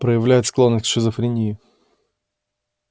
проявляет склонность к шизофрении